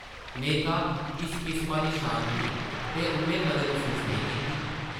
नेईं तां इस किस्मा दी शांति ते उʼन्नै कदें मसूस नेईं कीती ।